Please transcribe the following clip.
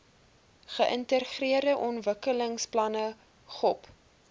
geïntegreerde ontwikkelingsplanne gop